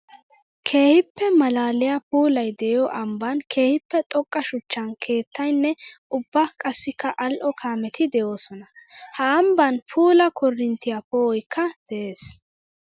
Keehippe malaaliya puulay de'iyo ambban keehippe xoqqa shuchcha keettayinne ubba qassikka ali'o kaametti de'osonna. Ha ambban puula koorinttiya po'oykka de'ees.